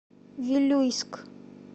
вилюйск